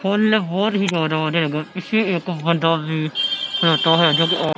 ਫੁੱਲ ਬਹੁਤ ਹੀ ਜਿਆਦਾ ਆ ਰਹੇ ਪਿੱਛੇ ਇਕ ਬੰਦਾ ਵੀ ਖਲੋਤਾ ਹੋਇਆ--